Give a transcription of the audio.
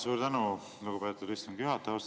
Suur tänu, lugupeetud istungi juhataja!